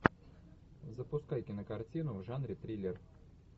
запускай кинокартину в жанре триллер